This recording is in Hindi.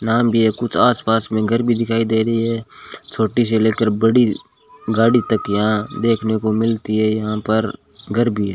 नाम भी है कुछ आस पास में घर दिखाई दे रही है छोटी से लेकर बड़ी गाड़ी तक यहां देखने को मिलती है यहां पर घर भी है।